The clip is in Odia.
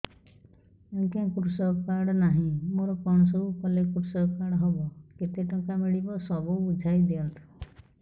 ଆଜ୍ଞା କୃଷକ କାର୍ଡ ନାହିଁ ମୋର କଣ ସବୁ କଲେ କୃଷକ କାର୍ଡ ହବ କେତେ ଟଙ୍କା ମିଳିବ ସବୁ ବୁଝାଇଦିଅନ୍ତୁ